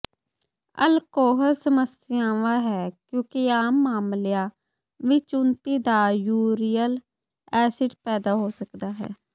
alcohol ਸਮੱਸਿਆਵਾਂ ਹੈ ਕਿਉਂਕਿ ਆਮ ਮਾਮਲਿਆਂ ਵਿੱਚ ਉੱਨਤੀ ਦਾ ਯੂਰੀਅਲ ਐਸਿਡ ਪੈਦਾ ਹੋ ਸਕਦਾ ਹੈ